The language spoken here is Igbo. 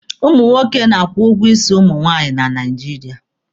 Ụmụ nwoke na-akwụ ụgwọ isi ụmụ nwaanyị na Naijiria.